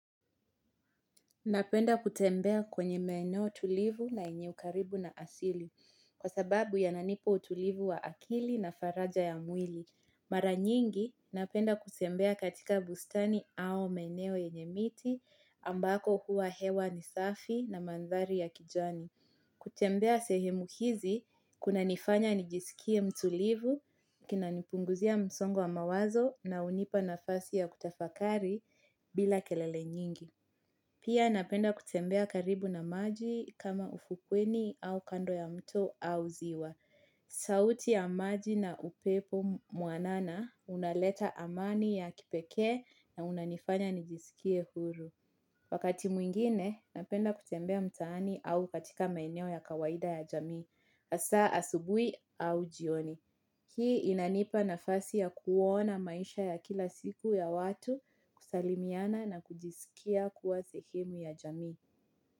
Napenda kutembea kwenye maeneo tulivu na yenye ukaribu na asili kwa sababu yananipa utulivu wa akili na faraja ya mwili. Mara nyingi, napenda kutembea katika bustani au maeneo yenye miti ambako huwa hewa ni safi na mandhari ya kijani. Kutembea sehemu hizi, kuna nifanya nijisikie mtulivu, kunanipunguzia msongo wa mawazo na hunipa nafasi ya kutafakari bila kelele nyingi. Pia napenda kutembea karibu na maji kama ufukweni au kando ya mto au ziwa. Sauti ya maji na upepo mwanana unaleta amani ya kipekee na unanifanya nijisikie huru. Wakati mwingine napenda kutembea mtaani au katika maeneo ya kawaida ya jamii. Hasa asubuhi au jioni. Hii inanipa nafasi ya kuona maisha ya kila siku ya watu, kusalimiana na kujisikia kuwa zehemu ya jamii.